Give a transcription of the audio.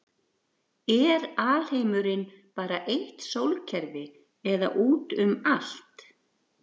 er alheimurinn bara eitt sólkerfi eða út um allt